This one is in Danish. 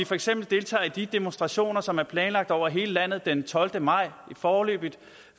for eksempel deltager i de demonstrationer som er planlagt over hele landet den tolvte maj foreløbig